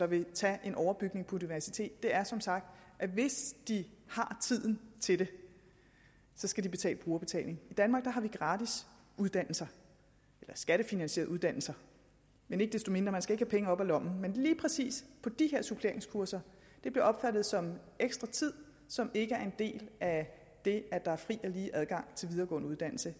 vil tage en overbygning på universitetet er som sagt at hvis de har tiden til det skal de lægge brugerbetaling i danmark har vi gratis uddannelser eller skattefinansierede uddannelser ikke desto mindre skal have penge op af lommen men lige præcis for de her suppleringskurser der bliver opfattet som ekstra tid som ikke er en del af det at der er fri og lige adgang til videregående uddannelse